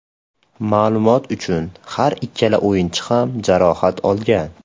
Ma’lumot uchun, har ikkala o‘yinchi ham jarohat olgan.